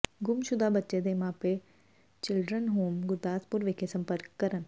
ਗੁੰਮਸ਼ੁਦਾ ਬੱਚੇ ਦੇ ਮਾਪੇ ਚਿਲਡਰਨ ਹੋਮ ਗੁਰਦਾਸਪੁਰ ਵਿਖੇ ਸੰਪਰਕ ਕਰਨ